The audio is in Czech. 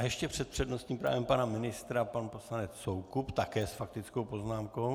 A ještě před přednostním právem pana ministra pan poslanec Soukup - také s faktickou poznámkou.